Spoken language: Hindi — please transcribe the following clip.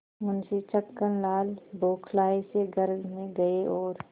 मुंशी छक्कनलाल बौखलाये से घर में गये और